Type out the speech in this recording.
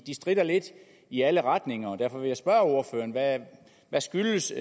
stritter lidt i alle retninger og derfor vil jeg spørge ordføreren hvad skyldes